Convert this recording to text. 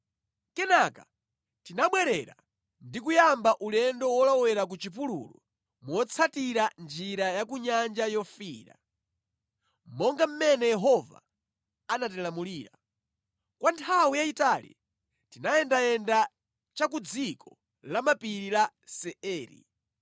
Kenaka tinabwerera ndi kuyamba ulendo wolowera ku chipululu motsatira njira ya ku Nyanja Yofiira, monga mmene Yehova anatilamulira. Kwa nthawi yayitali tinayendayenda cha ku dziko la mapiri la Seiri.